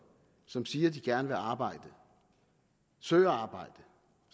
som siger at de gerne vil arbejde søger arbejde